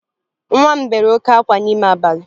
Nwa m bere oke ákwá n'ime abalị